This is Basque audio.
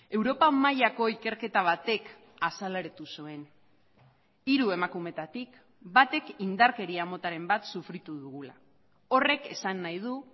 europa mailako ikerketa batek azaleratu zuen hiru emakumeetatik batek indarkeria motaren bat sufritu dugula horrek esan nahi du